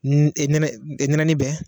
nɛnɛɛni bɛ.